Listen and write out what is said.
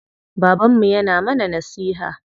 Babanmu yana mana nasiha.